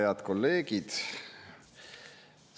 Head kolleegid!